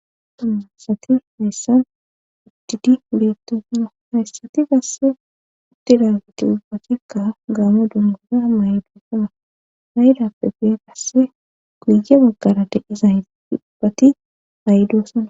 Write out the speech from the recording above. dumma asati hayssa uddidi uliettosno hayssati gasse utti dagiti ubbatikka gaamo dungura maydofa haydappe gee gasse guye baggara deezay ubbati aydoosana